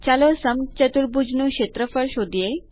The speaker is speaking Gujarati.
ચાલો સમચતુર્ભુજ નું ક્ષેત્રફળ શોધીએ